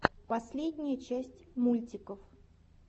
последняя часть мультиков